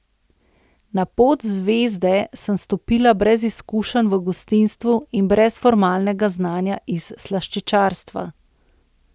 Na pot Zvezde sem stopila brez izkušenj v gostinstvu in brez formalnega znanja iz slaščičarstva.